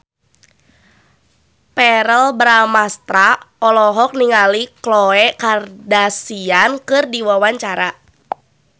Verrell Bramastra olohok ningali Khloe Kardashian keur diwawancara